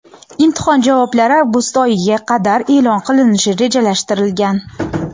Imtihon javoblar avgust oyiga qadar e’lon qilinishi rejalashtirilgan.